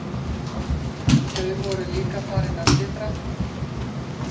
Þau voru líka farin að titra.